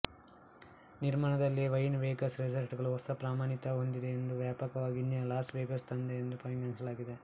ನಿರ್ಮಾಣದಲ್ಲಿಯೇ Wynn Vegas ರೆಸಾರ್ಟ್ಗಳು ಹೊಸ ಪ್ರಮಾಣಿತ ಹೊಂದಿದೆ ಮತ್ತು ವ್ಯಾಪಕವಾಗಿ ಇಂದಿನ ಲಾಸ್ ವೇಗಾಸ್ ತಂದೆ ಎಂದು ಪರಿಗಣಿಸಲಾಗಿದೆ